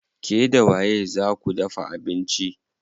Ke da waye zaa ku dafa abinci?